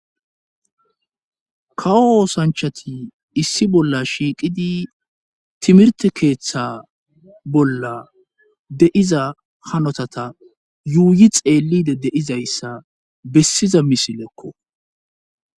kawo oosanchati issi bolla shiiqidi timirte keeththa bolla de7iza hanotata yuuyi xeellide deizayssa bessiza misilekko